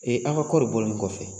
Ee aw ka kɔɔri bɔlen kɔfɛ